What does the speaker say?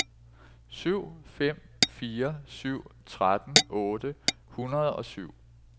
syv fem fire syv tretten otte hundrede og syv